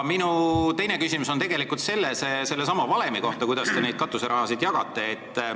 Minu teine küsimus on tegelikult sellesama valemi kohta, kuidas te neid katuserahasid jagate.